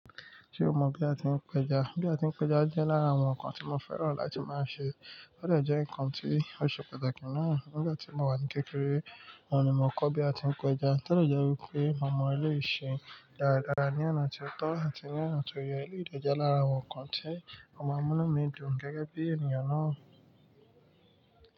Ṣé o mọ̀ bí a ti ń péja? Bí a ti ń péja jẹ́ lára àwọn nǹkan tí mo fẹ́ràn láti máa ṣe. Ó dẹ jẹ nǹkan tí ó ṣe pàtàkì naa. Nígbà tí mo wà ní kékeré, oun ni mo kọ́ bí a ti ń péja. To dẹ̀ jẹ́ wípé mo mọ eleyi ṣe dáradára ní ọ̀nà tió tọ́ àti ní ọ̀nà tó yẹ. Elé ì dè je lára àwọn nǹkan tí ọma múnú mi dùn gẹ́gẹ́ bí ènìyàn náà.